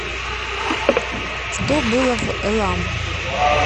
что было в элам